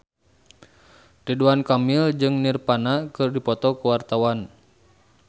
Ridwan Kamil jeung Nirvana keur dipoto ku wartawan